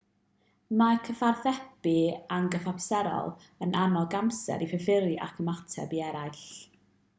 mae cyfathrebu anghyfamserol yn annog amser i fyfyrio ac ymateb i eraill